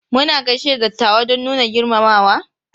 Muna gaishe da dattawa don nuna girmamawa.